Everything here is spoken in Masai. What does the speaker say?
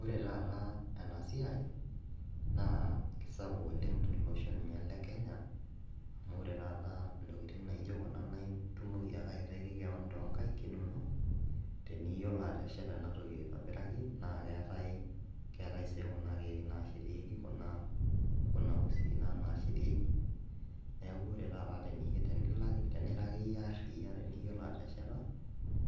Ore taata ena siai naa kisapuk oleng tolosho ninye le kenya amu ore taata intokiting naijo kuna naa itumoki ake aitaiki kewon tonkaik inonok teniyiolo atesheta ena toki aitobiraki naa keetae, keetae sii kuna keek nashetieki kuna kuna usii naa nashetieki niaku ore taata teniyie tenilak tenira akeyie arriyia teniyiolo atesheta